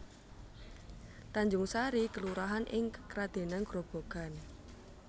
Tanjungsari kelurahan ing Kradenan Grobogan